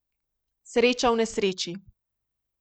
Sreča v nesreči.